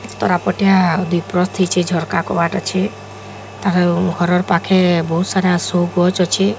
ତରାପଟିଆ ଦିପରସ୍ତେ ହେଇଚେ ଝରକା କବାଟ୍ ଅଛେ ତାର ଘରର ପାଖେ ବହୁସାରା ସୋ ଗଛ୍ ଅଛେ।